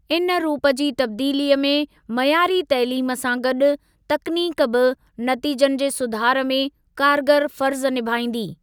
इन रूप जी तब्दीलीअ में मयारी तइलीम सां गॾु तकनीक बि नतीजनि जे सुधार में कारगर फ़र्ज़ निभाईंदी।